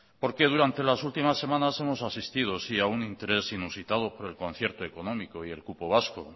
porque durante las últimas semanas hemos asistido sí a un interés inusitado por el concierto económico y el cupo vasco